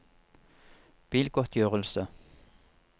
bilgodtgjørelse